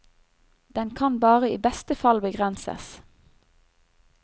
Den kan bare i beste fall begrenses.